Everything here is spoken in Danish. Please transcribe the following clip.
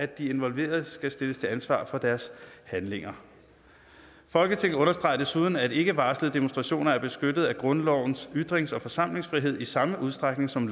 de involverede skal stilles til ansvar for deres handlinger folketinget understreger desuden at ikkevarslede demonstrationer er beskyttet af grundlovens ytrings og forsamlingsfrihed i samme udstrækning som